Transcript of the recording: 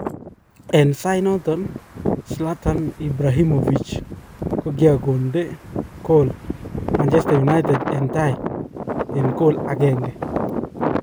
En sait noto Zlatan Ibrahimovic kokiakonde kol Manchester united en tai en kool agenge.